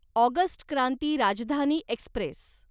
August Kranti Rajdhani Express